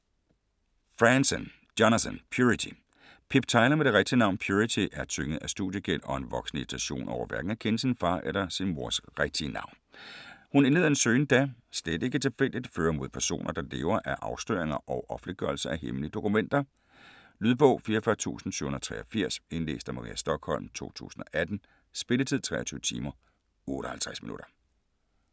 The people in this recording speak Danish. Franzen, Jonathan: Purity Pip Tyler med det rigtige navn Purity er tynget af studiegæld og en voksende irritation over hverken at kende sin far eller sin mors rigtige navn. Hun indleder en søgen der - slet ikke tilfældigt - fører mod personer der lever af afsløringer og offentliggørelse af hemmelige dokumenter. Lydbog 44783 Indlæst af Maria Stokholm, 2018. Spilletid: 23 timer, 58 minutter.